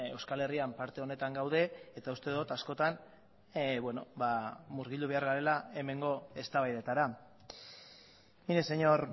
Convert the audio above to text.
euskal herrian parte honetan gaude eta uste dut askotan murgildu behar garela hemengo eztabaidetara mire señor